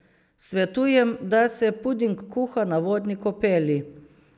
Svetujem, da se puding kuha na vodni kopeli.